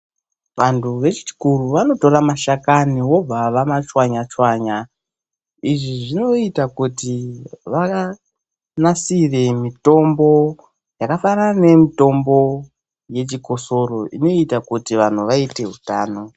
Vantu vechikuru vanotora mashani wobva wamachwanya-chwanya. Izvi zvinoita kuti vanasire mitombo yakaita semitombo yechikosoro, inoita kuti antu aite utano.